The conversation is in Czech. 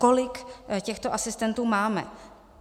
Kolik těchto asistentů máme?